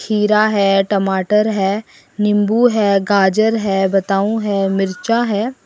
खीरा है टमाटर है नींबू है गाजर है बताऊं है मिर्चा है।